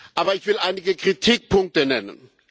Aber ich will einige Kritikpunkte nennen.